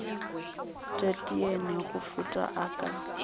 teteane go feta a ka